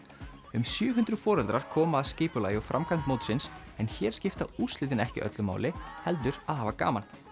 um sjö hundruð foreldrar koma að skipulagi og framkvæmd mótsins en hér skipta úrslitin ekki öllu máli heldur að hafa gaman